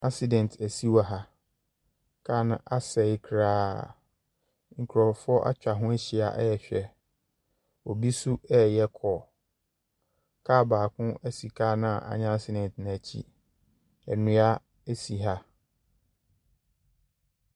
Accident asi wɔ ha. Carno asɛe koraa. Nkurɔfoɔ atwa ho ahyia rehwɛ. Obi nso reyɛ call. Car baako si car no a anya accident no akyi. Nnua si ha.